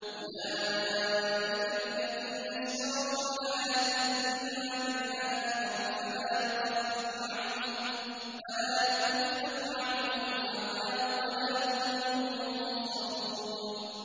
أُولَٰئِكَ الَّذِينَ اشْتَرَوُا الْحَيَاةَ الدُّنْيَا بِالْآخِرَةِ ۖ فَلَا يُخَفَّفُ عَنْهُمُ الْعَذَابُ وَلَا هُمْ يُنصَرُونَ